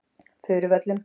Furuvöllum